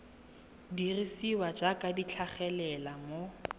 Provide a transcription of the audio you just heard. dirisiwa jaaka di tlhagelela mo